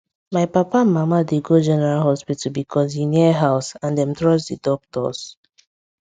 my papa and mama dey go general hospital because e near house and dem trust the doctors